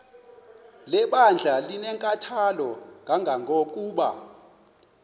lebandla linenkathalo kangangokuba